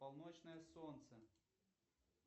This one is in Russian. полночное солнце